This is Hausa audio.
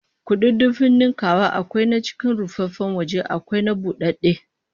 Kududdufin ninkaya akwai na cikin rufaffen waje akwai na budadde